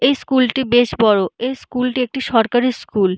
এই স্কুলটি বেশ বড়। এই স্কুল টি একটি সরকারি স্কুল ।